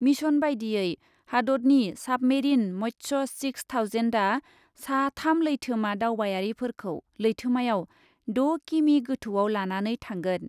Mission बायदियै, हादतनि submarine Matsya six थावजेन्डआ सा थाम लैथोमा दावबायारिफोरखौ लैथोमायाव द' किमि गोथौआव लानानै थांगोन।